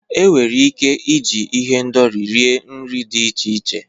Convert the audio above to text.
Enwere ike iji ihendori rie nri dị iche iche.